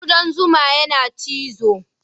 Ƙudan zuma yana cizo.